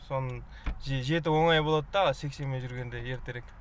соны же жету оңай болат та сексенмен жүргенде ертерек